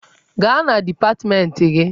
Gaa na dipatmenti gị!